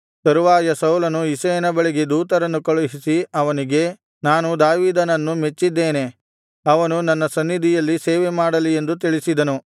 ತರುವಾಯ ಸೌಲನು ಇಷಯನ ಬಳಿಗೆ ದೂತರನ್ನು ಕಳುಹಿಸಿ ಅವನಿಗೆ ನಾನು ದಾವೀದನನ್ನು ಮೆಚ್ಚಿದ್ದೇನೆ ಅವನು ನನ್ನ ಸನ್ನಿಧಿಯಲ್ಲಿ ಸೇವೆಮಾಡಲಿ ಎಂದು ತಿಳಿಸಿದನು